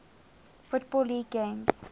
football league games